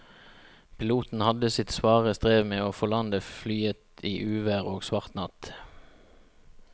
Piloten hadde sitt svare strev med å få landet flyet i uvær og svart natt.